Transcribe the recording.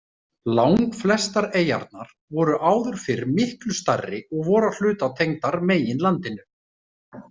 Langflestar eyjarnar voru áður fyrr miklu stærri og voru að hluta tengdar meginlandinu.